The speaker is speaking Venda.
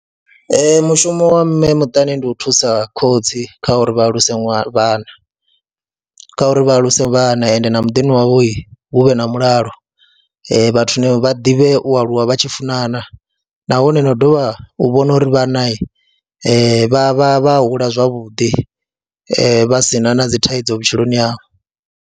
Ee, mushumo wa mme muṱani ndi u thusa khotsi kha uri vha alusa vhana, kha uri vha aluse vhana ende na muḓini wavho hu vhe na mulalo, vhathu vha ḓivhe u aluwa vha tshi funana nahone na u dovha u vhona uri vhana vha vha vha hula zwavhuḓi, vha si na na dzi thaidzo vhutshiloni havho.